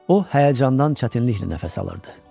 O həyəcandan çətinliklə nəfəs alırdı.